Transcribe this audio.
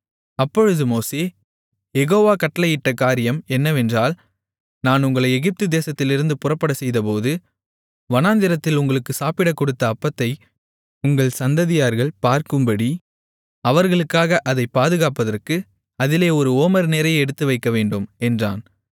அப்பொழுது மோசே யெகோவா கட்டளையிட்ட காரியம் என்னவென்றால் நான் உங்களை எகிப்து தேசத்திலிருந்து புறப்படச்செய்தபோது வனாந்திரத்தில் உங்களுக்கு சாப்பிடக்கொடுத்த அப்பத்தை உங்கள் சந்ததியார்கள் பார்க்கும்படி அவர்களுக்காக அதைப் பாதுகாப்பதற்கு அதிலே ஒரு ஓமர் நிறைய எடுத்து வைக்கவேண்டும் என்றான்